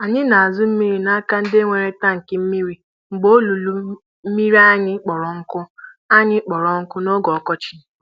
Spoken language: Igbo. Anyị na-azụ mmiri na-aka ndị nwere tankị mmiri mgbe olulu mmiri anyị kpọrọ nkụ anyị kpọrọ nkụ n'oge ọkọchị.